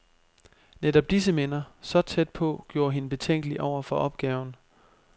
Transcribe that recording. Netop disse minder, så tæt på, gjorde hende betænkelig over for opgaven.